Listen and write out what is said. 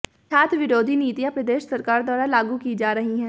छात्र विरोधी नीतियां प्रदेश सरकार द्वारा लागू की जा रही है